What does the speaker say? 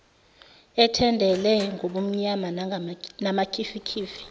ethendele ngobumnyama namakhifikhifi